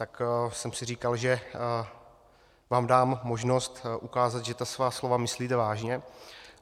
Tak jsem si říkal, že vám dám možnost ukázat, že ta svá slova myslíte vážně.